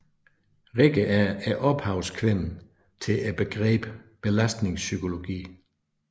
Rikke er ophavskvinden til begrebet belastningspsykologi